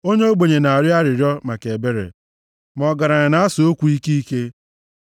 Onye ogbenye na-arịọ arịrịọ maka ebere; ma ọgaranya na-asa okwu ike ike.